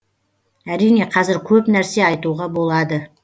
әрине қазір көп нәрсе айтуға болады